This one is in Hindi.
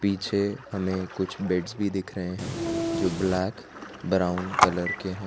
पीछे हमें कुछ बेड्स भी दिख रहे हैं जो ब्लैक ब्राउन कलर के हैं।